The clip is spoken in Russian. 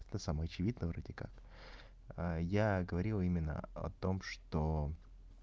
это самое очевидное вроде как я говорил именно о том что